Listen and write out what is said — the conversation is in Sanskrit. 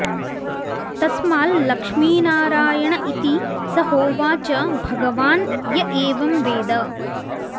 तस्माल्लक्ष्मीनारायण इति स होवाच भगवान् य एवं वेद